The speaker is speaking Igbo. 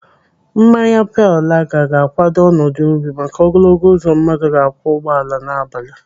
Mmanya pale laga ga-kwado ọnọdụ obi maka ogologo uzo mmadụ ga-akwọ ụgbọala n'abalị.